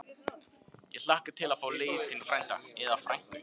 Ég hlakka til að fá lítinn frænda. eða frænku!